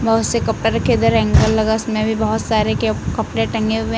बहुत से कपड़े रखे। इधर एंकल लगा। उसमें भी बहोत सारे केप कपड़े टंगे हुए --